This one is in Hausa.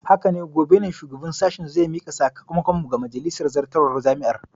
Haka ne, gobe ne shugaban sashen zai mika sakamakon mu ga majalisar zartarwar jami'ar.